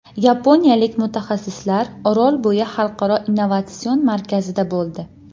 Yaponiyalik mutaxassislar Orolbo‘yi xalqaro innovatsion markazida bo‘ldi.